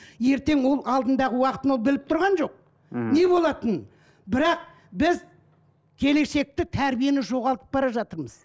ертең ол алдыңдағы уақытын ол біліп тұрған жоқ мхм не болатынын бірақ біз келешекті тәрбиені жоғалтып бара жатырмыз